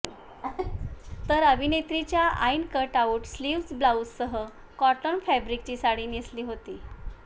तर अभिनेत्रीच्या आईनं कटआउट स्लीव्ह्ज ब्लाउजसह कॉटन फॅब्रिकची साडी नेसली होती